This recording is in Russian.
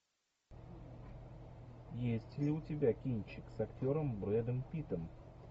есть ли у тебя кинчик с актером брэдом питтом